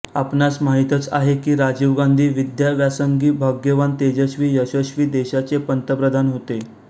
आपणास माहीतच आहे की राजीव गांधी विद्याव्यासंगी भाग्यवान तेजस्वी यशस्वी देशाचे पंतप्रधान होते